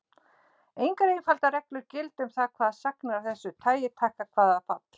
Engar einfaldar reglur gilda um það hvaða sagnir af þessu tagi taka hvaða fall.